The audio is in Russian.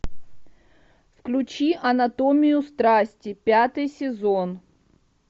включи анатомию страсти пятый сезон